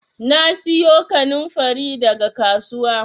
Na siyo kannanfari daga kasuwa